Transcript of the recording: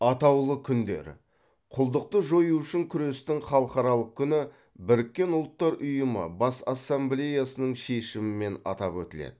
атаулы күндер құлдықты жою үшін күрестің халықаралық күні біріккен ұлттар ұйымы бас ассамблеясының шешімімен атап өтіледі